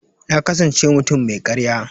Na kasance mutum mai karya.